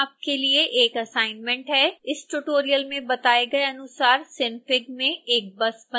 इस ट्यूटोरियल में बताए गए अनुसार synfig में एक बस बनाएँ